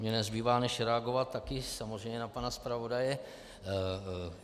Mně nezbývá než reagovat taky samozřejmě na pana zpravodaje.